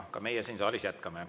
Aga meie siin saalis jätkame.